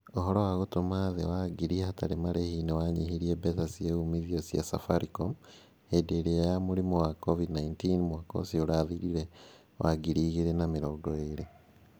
Ũhoro wa gũtũma thĩĩ wa ngiri hatarĩ marehi nĩ wa nyihirie mbeca cia uumithio cia safaricom . Hĩndĩ ĩria ya mũrimũ wa COVID-19 mwaka ũcio ũrathirire wa 2020.